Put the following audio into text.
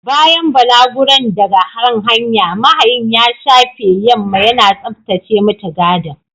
Bayan balaguron daga kan hanya, mahayin ya shafe yamma yana tsaftace mutigadin.